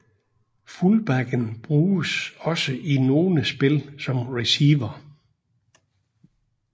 Fullbacken bruges også i nogle spil som receiver